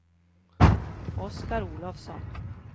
Oscar Olofsson